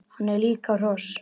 Hann er líka hross!